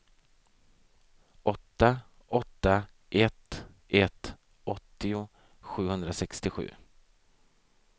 åtta åtta ett ett åttio sjuhundrasextiosju